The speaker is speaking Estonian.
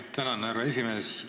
Tänan, härra esimees!